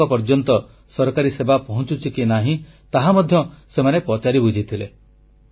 ସେମାନଙ୍କ ପର୍ଯ୍ୟନ୍ତ ସରକାରୀ ସେବା ପହଂଚୁଛି କି ନାହିଁ ତାହା ମଧ୍ୟ ସେମାନେ ପଚାରି ବୁଝିଥିଲେ